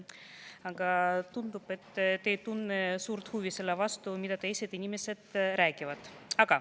Aga tundub, et te ise ei tunne suurt huvi selle vastu, mida teised inimesed räägivad.